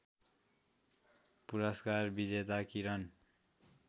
पुरस्कार विजेता किरन